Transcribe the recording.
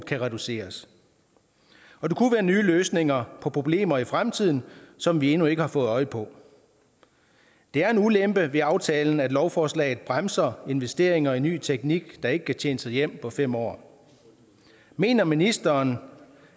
kan reduceres og det kunne være nye løsninger på problemer i fremtiden som vi endnu ikke har fået øje på det er en ulempe ved aftalen at lovforslaget bremser investeringer i ny teknik der ikke kan tjene sig hjem på fem år mener ministeren